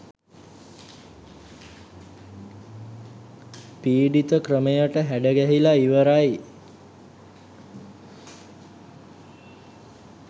පීඩිත ක්‍රමයට හැඩගැහිලා ඉවරයි.